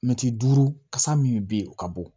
Mɛtiri duuru kasa min bɛ yen o ka bon